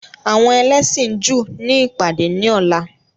Àwọn ẹlẹ́sìn Júù ni ìpàdé ní ọ̀la.